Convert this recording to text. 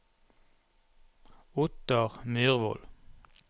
Ottar Myrvold